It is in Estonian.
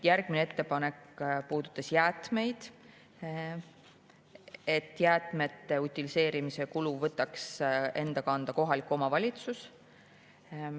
Järgmine ettepanek puudutas jäätmeid, et jäätmete utiliseerimise kulu võtaks enda kanda kohalik omavalitsus.